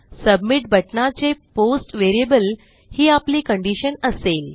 submit बटणाचे post variable ही आपली कंडिशन असेल